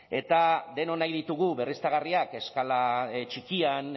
ezta eta denok nahi ditugu berriztagarriak eskala txikian